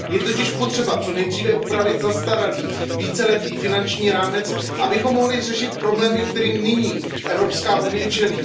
Je totiž potřeba co nejdříve upravit zastaralý víceletý finanční rámec, abychom mohli řešit problémy, kterým nyní Evropská unie čelí.